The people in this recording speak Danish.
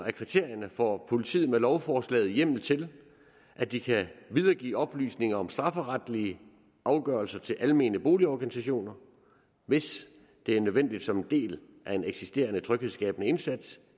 af kriterierne får politiet med lovforslaget hjemmel til at de kan videregive oplysninger om strafferetlige afgørelser til almene boligorganisationer hvis det er nødvendigt som en del af en eksisterende tryghedsskabende indsats